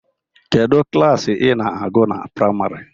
Kedụ klaasị ina agụ na praimarị?